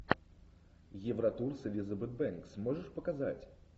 евротур с элизабет бэнкс можешь показать